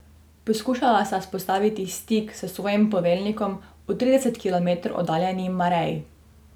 Poskušala sta vzpostaviti stik s svojim poveljnikom v trideset kilometrov oddaljeni Marei.